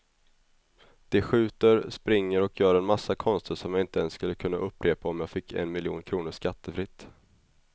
De skjuter, springer och gör en massa konster som jag inte ens skulle kunna upprepa om jag fick en miljon kronor skattefritt.